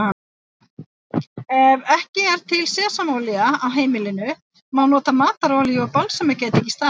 Ef ekki er til sesamolía á heimilinu má nota matarolíu og balsamedik í staðinn.